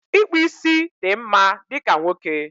Ịkpụ ísí dị mma dịka nwoke